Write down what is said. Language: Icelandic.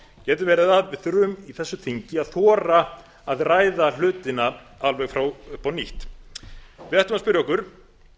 getur verið að við þurfum í þessu þingi að þora að ræða hlutina alveg upp á nýtt við ættum að spyrja okkur